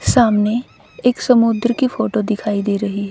सामने एक समुद्र की फोटो दिखाई दे रही--